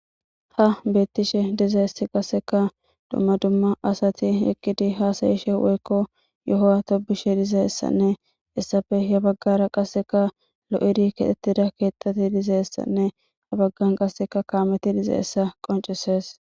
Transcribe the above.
Ha bettishshe dizayiss qasekka dumma dumma asati eqqid hasayishshe woyikko yohaa tobishshe dozayissanne hessappe yaa bagara qaa soyi bettishshe dees.